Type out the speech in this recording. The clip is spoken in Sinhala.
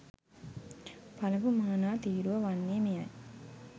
පළමු මානා තීරුව වන්නේ මෙයයි.